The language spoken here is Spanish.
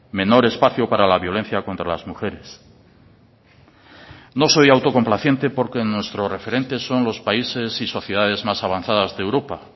menor espacio para la violencia contra las mujeres no soy autocomplaciente porque nuestro referente son países y sociedades más avanzadas de europa